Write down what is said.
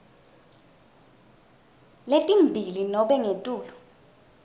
letimbili nobe ngetulu